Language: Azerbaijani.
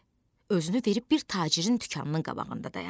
Özünü verib bir tacirin dükanının qabağında dayandı.